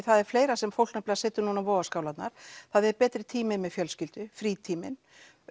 það er fleira sem fólk setur núna á vogaskálarnar það er betri tími með fjölskyldu frítíminn